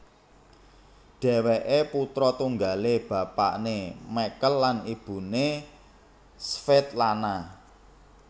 Dhèwèké putra tunggalé bapané Michael lan ibuné Svetlana